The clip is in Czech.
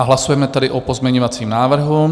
A hlasujeme tedy o pozměňovacím návrhu.